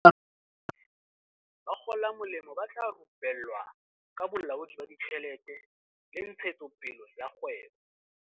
E le karolo ya lenaneo lena, bakgolamolemo ba tla rupe llwa ka bolaodi ba ditjhelete le ntshetsopele ya kgwebo.